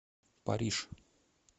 париж